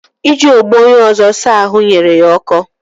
Iji ogbo onye ọzọ saa ahụ nyere ya ọkọ